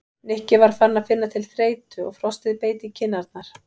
Nikki var farinn að finna til þreytu og frostið beit í kinn- arnar.